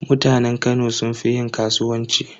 Mutanen Kano sun fi yin kasuwanci.